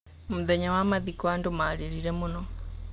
Mũthenya wa mathiko andũ marĩrire mũno.